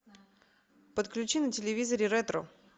подключи на телевизоре ретро